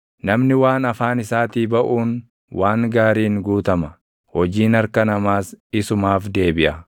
Namni waan afaan isaatii baʼuun waan gaariin guutama; hojiin harka namaas isumaaf deebiʼa.